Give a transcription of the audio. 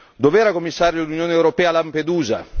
Dov'era, Commissario, l'Unione europea a Lampedusa?